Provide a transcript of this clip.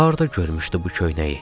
Harda görmüşdü bu köynəyi?